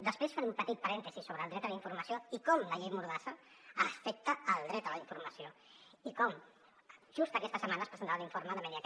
després faré un petit parèntesi sobre el dret a la informació i com la llei mordassa afecta el dret a la informació i com just aquesta setmana es presentarà l’informe de media